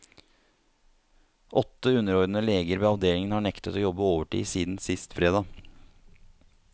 Åtte underordnede leger ved avdelingen har nektet å jobbe overtid siden sist fredag.